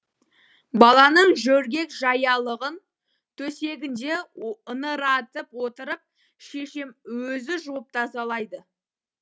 баланың жөргек жаялығын төсегінде ыңыратып отырып шешем өзі жуып тазалайды